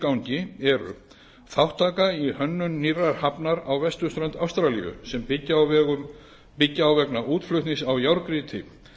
gangi eru þátttaka í hönnun nýrrar hafnar á vesturströnd ástralíu sem byggja á vegna útflutnings á járngrýti